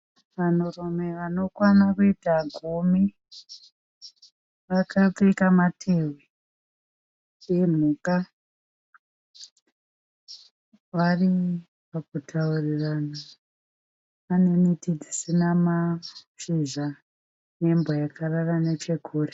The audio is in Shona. vanhurume vanokwana kuita gumi. vakapfeka matehwe emhuka. Varikuturirana. Pane miti dzisina mashizha nembwa yakarara nechekure.